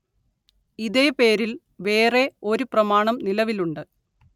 ഇതേ പേരില്‍ വേറെ ഒരു പ്രമാണം നിലവിലുണ്ട്